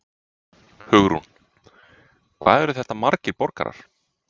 Hugrún: Hvað eru þetta margir borgarar?